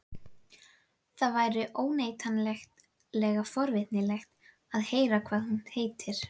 Það væri óneitanlega forvitnilegt að heyra hvað hún heitir.